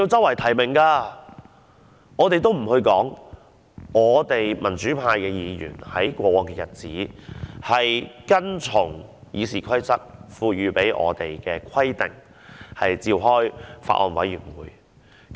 我們暫且不說，民主派議員在過往的日子裏，都是跟從《議事規則》賦予我們的規定來召開法案委員會的。